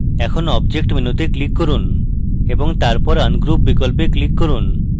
এখন object menu তে click করুন এবং তারপর ungroup বিকল্পে click করুন